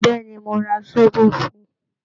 Bẹ́ẹ̀ ni, mo ra sóbò fún un